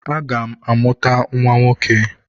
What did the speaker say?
Aga m amụta nwa nwoke.